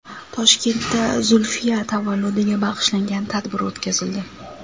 Toshkentda Zulfiya tavalludiga bag‘ishlangan tadbir o‘tkazildi.